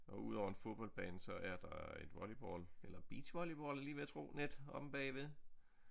Og udover en fodboldbane så er der et volleyball eller beachvolleyball er jeg lige ved at tro net omme bagved